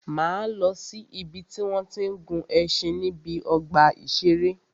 Máa lọ si ìbi tí wọ́n tí ń gun ẹṣin níbi ọgbà ìṣẹ̀rẹ́.